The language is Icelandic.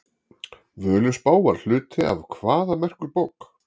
Völuspá var hluti af hvaða merku bók?